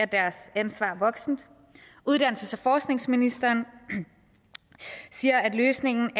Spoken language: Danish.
deres ansvar voksent uddannelses og forskningsministeren siger at løsningen